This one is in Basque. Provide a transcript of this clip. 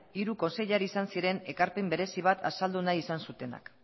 hiru kontseilari izan ziren ekarpen berezi bat azaldu nahi izan zutenak